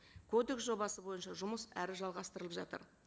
кодекс жобасы бойынша жұмыс әрі жалғастырылып жатыр